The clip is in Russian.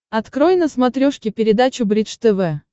открой на смотрешке передачу бридж тв